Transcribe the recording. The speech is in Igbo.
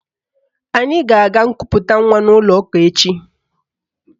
Anyị ga-aga nkuputa nwa n'ụlọụka echi